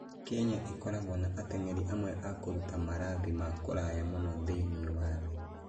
Kenya ĩkoragwo na ateng'eri amwe a kũruta marathi ma kũraya mũno thĩinĩ wa thĩ.